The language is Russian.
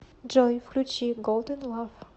джой включи голдэн лав